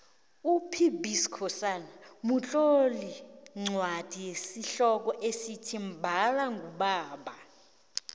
upb skhosana utlole incwadi yesihloko esithi mbala ngubaba